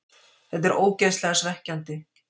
Þetta er ógeðslega svekkjandi.